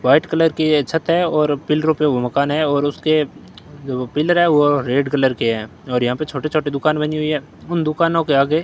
white colour की ये छत है और पीलरों पे वो मकान है और उसके जो पीलर है वो रेड कलर के हैं और यहां पे छोटे छोटे दुकान बनी हुई है उन दुकानों के आगे--